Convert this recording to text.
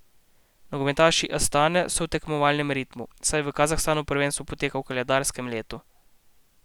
Nogometaši Astane so v tekmovalnem ritmu, saj v Kazahstanu prvenstvo poteka v koledarskem letu.